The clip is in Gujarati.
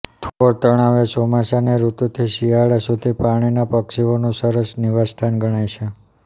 થોળ તળાવ એ ચોમાસાંની ઋતુથી શિયાળા સુધી પાણીના પક્ષીઓનું સરસ નિવાસસ્થાન ગણાય છે